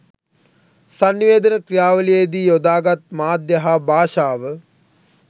සන්නිවේදන ක්‍රියාවලියේ දී යොදා ගත් මාධ්‍ය හා භාෂාව